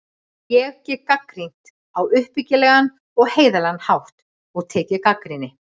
Ég get gagnrýnt á uppbyggilegan og heiðarlegan hátt og tekið gagnrýni.